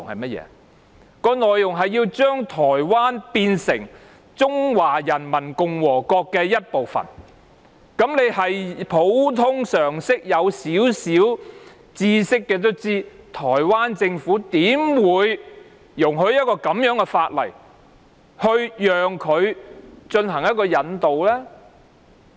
是將台灣變成中華人民共和國的一部分，有少許普通常識的人也知道，台灣政府怎會容許根據以這樣的法例進行引渡呢？